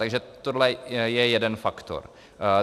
Takže tohle je jeden faktor.